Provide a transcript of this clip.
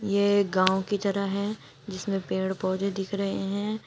ये गाँव की जरह है जिसमें पेड़ पौधे दिख रहे हैं।